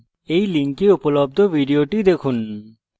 এই লিঙ্কে উপলব্ধ video দেখুন